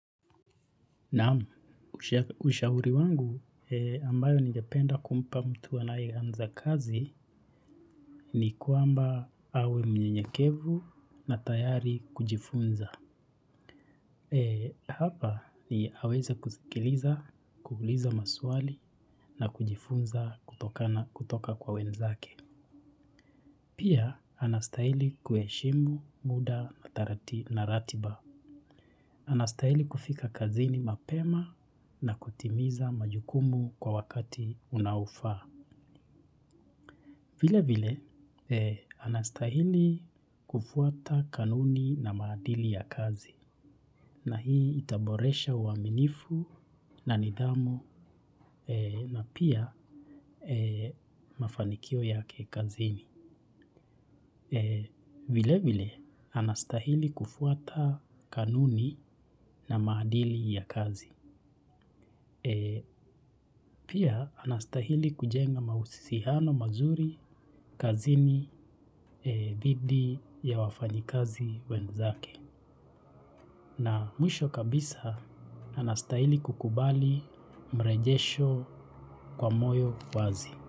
Naam, ushauri wangu ambayo ningependa kumpa mtu anae anza kazi ni kwamba awe mnyenyekevu na tayari kujifunza. Hapa ni aweze kusikiliza, kuuliza maswali na kujifunza kutoka kwa wenzake. Pia, anastahili kuheshimu muda na ratiba. Anastahili kufika kazini mapema na kutimiza majukumu kwa wakati unaofaa. Vilevile, anastahili kufuata kanuni na maadili ya kazi. Na hii itaboresha uaminifu na nidhamu na pia mafanikio yake kazini. Vilevile anastahili kufuata kanuni na maadili ya kazi. Pia anastahili kujenga mahusiano mazuri kazini dhidi ya wafanyakazi wenzake. Na mwisho kabisa anastahili kukubali mrejesho kwa moyo wazi.